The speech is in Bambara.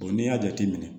n'i y'a jateminɛ